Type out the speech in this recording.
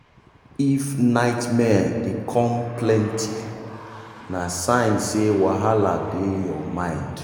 if nightmare dey come plenty na sign say wahala dey your mind.